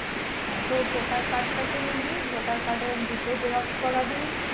হ্যাঁ তো voter card টা কে নিবি voter card এর দুটো xerox করাবি